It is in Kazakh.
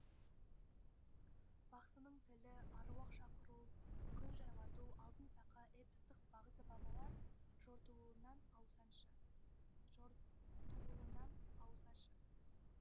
бақсының тілі аруақ шақыру күн жайлату алтын сақа эпостық бағзы бабалар жортуылынан аусаншы